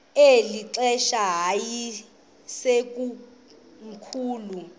eli xesha yayisekomkhulu